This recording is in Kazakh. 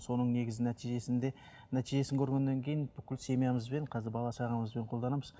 соның негізі нәтижесінде нәтижесін көргеннен кейін бүкіл семьямызбен қазір бала шағамызбен қолданамыз